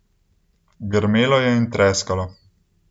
Grmelo je in treskalo.